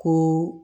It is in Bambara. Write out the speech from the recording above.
Ko